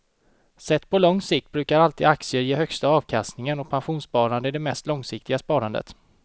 Sett på lång sikt brukar alltid aktier ge högsta avkastningen och pensionssparande är det mest långsiktiga sparandet.